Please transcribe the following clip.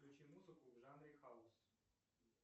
включи музыку в жанре хаус